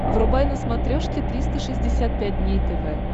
врубай на смотрешке триста шестьдесят пять дней тв